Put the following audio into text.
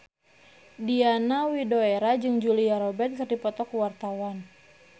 Diana Widoera jeung Julia Robert keur dipoto ku wartawan